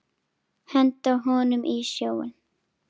Henda honum í sjóinn!